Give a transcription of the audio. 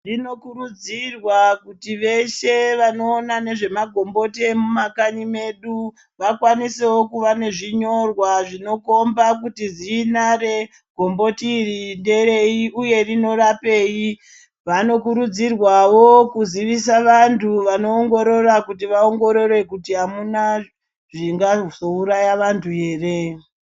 Zvinokurudzirwa kuti veshe vanoona nezvemagomboti emumakanyi medu vakwanisewo kuva nezvinyorwa zvinokomba kuti zinare gomboti iri nderei uye rinorapeyi. Vanokurudzirwawo kuzivisa vantu vanoongorara kuti vaongoreri kuti amuna zvingazouraya vantu ere.